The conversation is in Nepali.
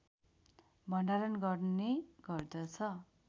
भण्डारण गर्ने गर्दछ